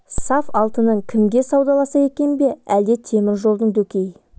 саф алтынын кімге саудаласа екен бе әлде темір жолдың дөкей